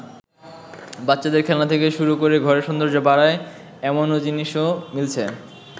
বাচ্চাদের খেলনা থেকে শুরু করে ঘরের সৌন্দর্য বাড়ায়, এমনও জিনিসও মিলছে।